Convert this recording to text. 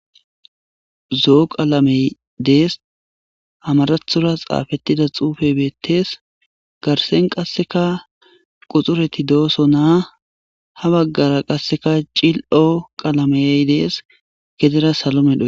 Zoo qalamey dees hamarathora xaafettida xuufey beettes garsen qasseka quxureti dooso naa ha baggara qasseka cil7o qalamey dees gedera salomedho.